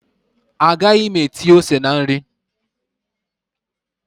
Agaghị m etinye ose na nri